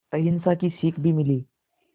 अहिंसा की सीख भी मिली